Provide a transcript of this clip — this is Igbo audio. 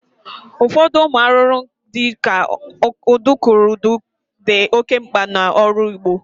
Ụfọdụ ụmụ arụrụ di ka udukurudu di oke mgba n'ọrụ ugbo